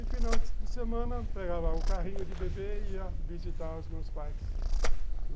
E final de semana, pegava o carrinho de bebê e ia visitar os meus pais.